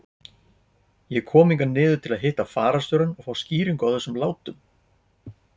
Ég kom hingað niður til þess að hitta fararstjórann og fá skýringu á þessum látum.